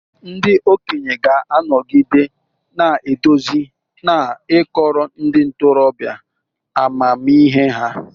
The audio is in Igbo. Ndị okenye ga-anọgide na-eduzi na ịkọrọ ndị ntorobịa amamihe ha.